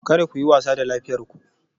Kada ku yi wasa da lafiyar ku